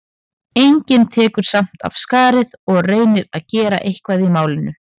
Enginn tekur samt af skarið og reynir að gera eitthvað í málinu.